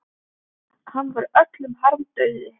Hann var öllum harmdauði.